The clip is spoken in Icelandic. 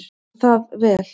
Og það vel.